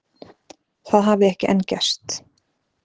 Það hafi ekki enn gerst